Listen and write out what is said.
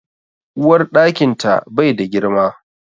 Uwarɗakin ta bai da girma